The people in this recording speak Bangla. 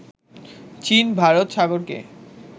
চীন ভারত সাগরকে